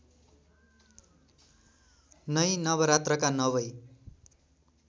नै नवरात्रका नवै